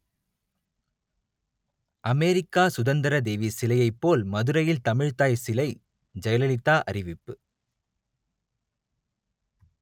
America சுதந்திரதேவி சிலையைப் போல் மதுரையில் தமிழ்த்தாய் சிலை ஜெயலலிதா அறிவிப்பு